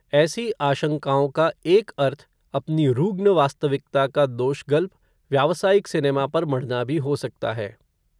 ऐसी आशंकाओं का एक अर्थ, अपनी रुग्ण वास्तविकता का दोष गल्प, व्यावसायिक सिनेमा पर मढ़ना भी हो सकता है